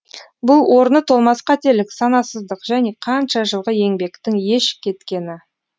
бұл орны толмас қателік санасыздық және қанша жылғы еңбектің еш кеткені